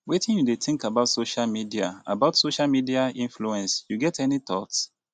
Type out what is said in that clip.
wetin you dey think about social media about social media influence you get any thoughts